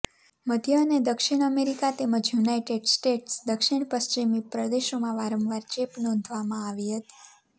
મધ્ય અને દક્ષિણ અમેરિકા તેમજ યુનાઇટેડ સ્ટેટ્સ દક્ષિણ પશ્ચિમી પ્રદેશોમાં વારંવાર ચેપ નોંધવામાં આવી હતી